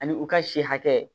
Ani u ka si hakɛ